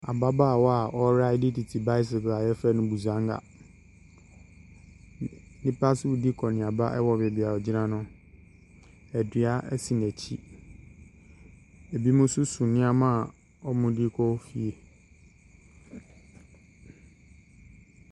Ababaawa a ɔreride tete bicycle a wɔfrɛ no busanga. N nnipa nso redi akɔnneaba wɔ baabi a ɔgyina no, na dua si n'akyi. Binom nso so nneɛma a wɔde rekɔ fie.